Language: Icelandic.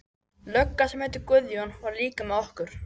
Lögga sem heitir Guðjón var líka með okkur.